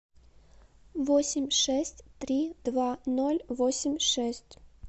восемь шесть три два ноль восемь шесть